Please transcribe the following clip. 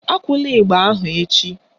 Akụla ịgba ahụ echi